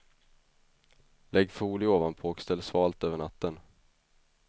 Lägg folie ovanpå och ställ svalt över natten.